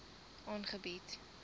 aangebied